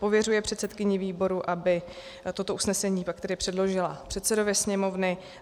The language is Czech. Pověřuje předsedkyni výboru, aby toto usnesení pak předložila předsedovi Sněmovny.